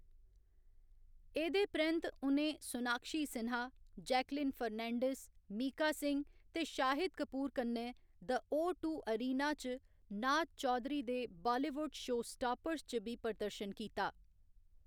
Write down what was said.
एह्‌‌‌दे परैंत्त उ'नें सोनाक्षी सिन्हा, जैकलीन फर्नांडीज, मीका सिंह ते शाहिद कपूर कन्नै द ओ टू एरिना च नाज चौधरी दे बालीवुड शोस्टापर्स च बी प्रदर्शन कीता।